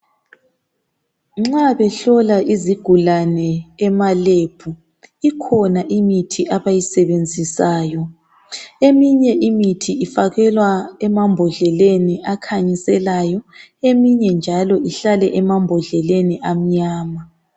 Nxa behlola izigulane ema-Lab ikhona imithi abayisebenzisayo .Eminye imithi ifakelwa emambodleleni akhanyiselayo eminye njalo kwamnyama.